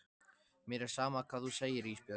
Mér er sama hvað þú segir Ísbjörg.